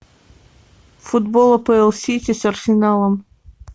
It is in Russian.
футбол апл сити с арсеналом